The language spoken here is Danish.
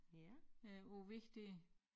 Øh på æ væg dér